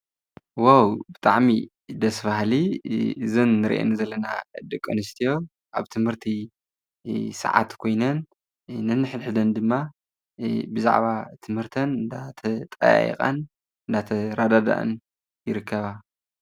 ዋው! ብጣዕሚ ደስ በሃሊ እዘን እንሪአን ዘለና ደቂ ኣንስትዮ ኣብ ትምህርቲ ሰዓት ኮይነን ነሕድሕደን ድማ ብዛዕባ ትምህርተን እንዳተጠያየቃን እናተረዳድአን ይርከባ፡፡